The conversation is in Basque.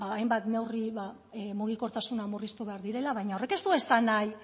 hainbat neurri mugikortasuna murriztu behar direla baina horrek ez du esan nahi